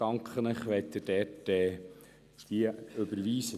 Ich danke Ihnen, wenn Sie diese überweisen.